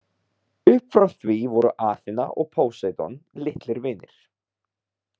Upp frá því voru Aþena og Póseidon litlir vinir.